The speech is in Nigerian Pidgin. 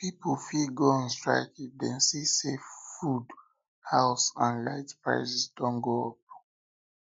pipo fit go on strike if dem see say food house and light prices don go up